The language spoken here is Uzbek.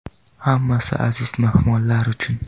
Hammasi aziz mehmonlar uchun.